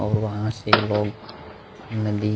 और वहा से लोग नदी--